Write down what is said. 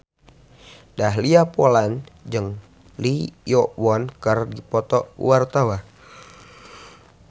Dahlia Poland jeung Lee Yo Won keur dipoto ku wartawan